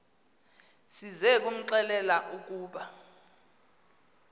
size kumxelela ukuba